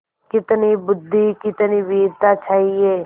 कितनी बुद्वि कितनी वीरता चाहिए